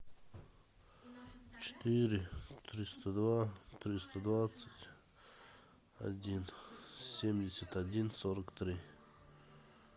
четыре триста два триста двадцать один семьдесят один сорок три